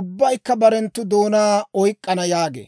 ubbaykka barenttu doonaa oyk'k'ana» yaagee.